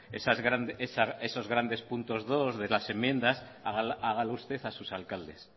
puntos dos de las enmiendas hágalo usted a sus alcaldes